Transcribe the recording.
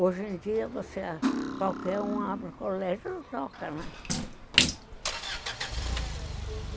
Hoje em dia você, qualquer um abre o colégio, toca, né?